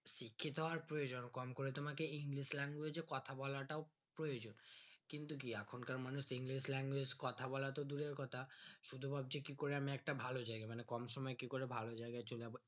শিক্ষিত প্রয়োজন কমকরে তোমাকে english language এ কথা বলাটাও প্রয়োজন কিন্তু কি এখনকার মানুষ হবে english language কথা বলা তো দূরের কথা শুধু ভাবছে কি করে আমি একটা ভালো জায়গা মানে কম সময়ে কি করে ভাল জায়গায় চলে যাবো